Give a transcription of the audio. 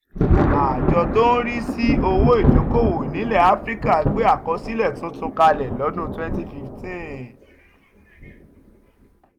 àjọ tó ń rí sí owó ìdókòwò nílẹ̀ áfíríkà gbé àkọsílẹ̀ tuntun kalẹ̀ lọ́dún twenty fifteen